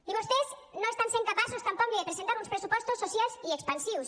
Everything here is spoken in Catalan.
i vostès no estan sent capaços tampoc ni de presentar uns pressupostos socials i expansius